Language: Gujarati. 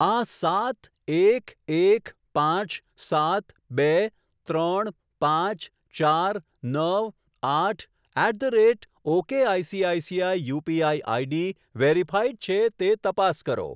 આ સાત એક એક પાંચ સાત બે ત્રણ પાંચ ચાર નવ આઠ at the rate okay ICICI UPI ID verified છે તે તપાસ કરો.